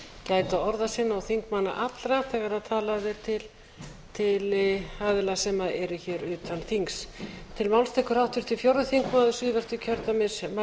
gæta orða sinna og þingmanna allra þegar talað er til aðila sem eru hér utan þings